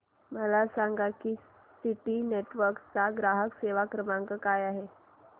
मला सांगा की सिटी नेटवर्क्स चा ग्राहक सेवा क्रमांक काय आहे